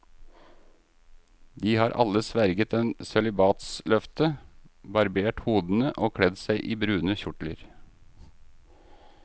De har alle sverget et sølibatsløfte, barbert hodene og kledd seg i brune kjortler.